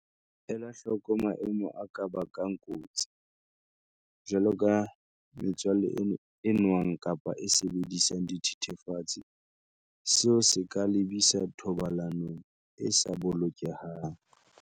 Ela hloko maemo a ka bang kotsi, jwaloka metswalle e nwang kapa e sebedisang dithethefatsi, seo se ka lebisa thobalanong e sa bolokehang.